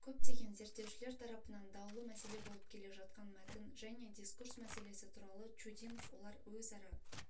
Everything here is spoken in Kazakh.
көптеген зерттеушілер тарапынан даулы мәселе болып келе жатқан мәтін және дискурс мәселесі туралы чудинов олар өзара